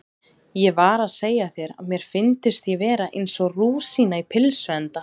Ég var að segja þér að mér fyndist ég vera eins og rúsína í pylsuenda